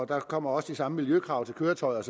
der kommer også de samme miljøkrav til køretøjerne